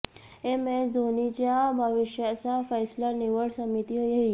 M S धोनीच्या भविष्याचा फैसला निवड समिती घेईल